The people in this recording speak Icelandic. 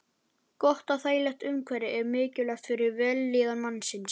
Gott og þægilegt umhverfi er mikilvægt fyrir vellíðan mannsins.